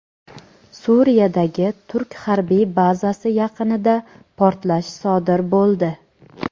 Suriyadagi turk harbiy bazasi yaqinida portlash sodir bo‘ldi.